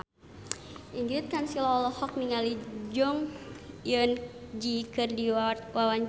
Ingrid Kansil olohok ningali Jong Eun Ji keur diwawancara